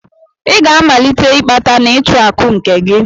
I ga-amalite ịkpata na ịchụ akụ nke gị!